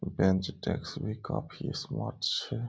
बेंच desks भी काफी smart छै।